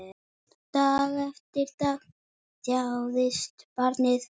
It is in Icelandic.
Dag eftir dag þjáðist barnið.